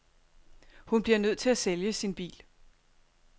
Hun bliver nødt til at sælge sin bil.